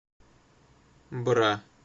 бра